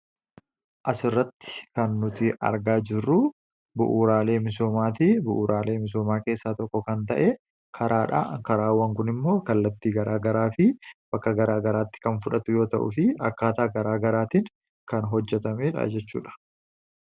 as irratti kan nuti argaa jirruu bu'uuraalee misoomaatii. Bu'uuraalee misoomaa keessaa tokko kan ta'e karaa dha karaawwan kun immoo kallattii garaagaraa fi bakka garaa garaatti kan fudhatu yoo ta'uu fi akkaataa garaa garaatiin kan hojjatamedha jechuudha.